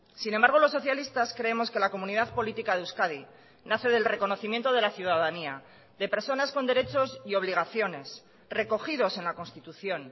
sin embargo los socialistas creemos que la comunidad política de euskadi nace del reconocimiento de la ciudadanía de personas con derechos y obligaciones recogidos en la constitución